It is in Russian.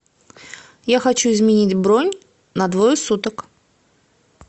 я хочу изменить бронь на двое суток